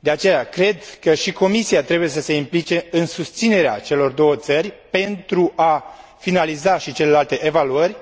De aceea, cred că și Comisia trebuie să se implice în susținerea celor două țări, pentru a finaliza și celelalte evaluări,